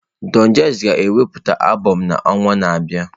Don Jazzy ga-ewepụta albụm n'ọnwa na-abịa.